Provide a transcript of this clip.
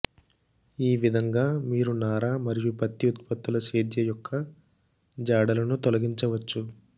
ఈ విధంగా మీరు నార మరియు పత్తి ఉత్పత్తులు స్వేద యొక్క జాడలను తొలగించవచ్చు